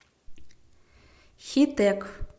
хитэк